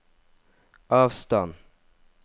avstand